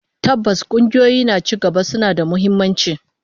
Tabbas, kungiyoyi na cigaba suna da muhimmanci